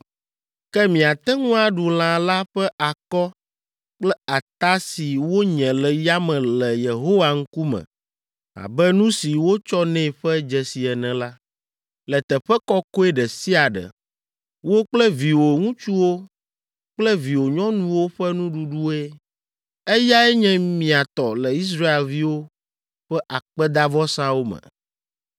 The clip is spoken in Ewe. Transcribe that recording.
Ke miate ŋu aɖu lã la ƒe akɔ kple ata si wonye le yame le Yehowa ŋkume abe nu si wotsɔ nɛ ƒe dzesi ene la, le teƒe kɔkɔe ɖe sia ɖe. Wò kple viwò ŋutsuwo kple viwò nyɔnuwo ƒe nuɖuɖue. Eyae nye mia tɔ le Israelviwo ƒe akpedavɔsawo me.